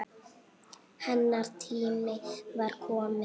Hennar tími var kominn.